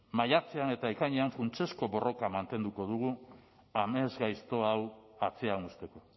maiatzean eta ekainean funtsezko borroka mantenduko dugu amesgaizto hau atzean uzteko